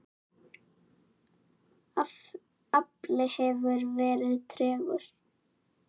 Afli hefur verið tregur.